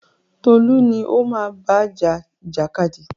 Tolú ni o máa bá ja ìjàkadì!